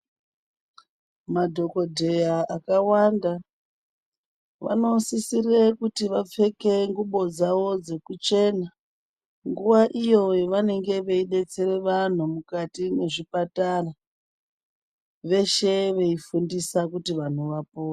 Madhokodheya akawanda vanosisire kuti vapfeke ngubo dzavo dzekuchena nguva iyo yavanenge veidetsera vanhu mwukati mwezvipatara. Veshe veifundisa kuti vanhu vapore.